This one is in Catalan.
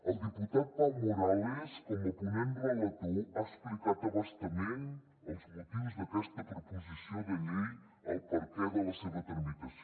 el diputat pau morales com a ponent relator ha explicat a bastament els motius d’aquesta proposició de llei el perquè de la seva tramitació